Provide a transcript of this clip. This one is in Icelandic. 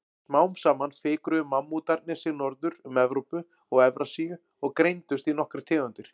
Smám saman fikruðu mammútarnir sig norður um Evrópu og Evrasíu og greindust í nokkrar tegundir.